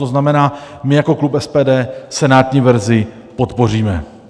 To znamená: my jako klub SPD senátní verzi podpoříme.